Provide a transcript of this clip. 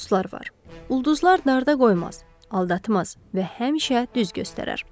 Ulduzlar narda qoymaz, aldatmaz və həmişə düz göstərər.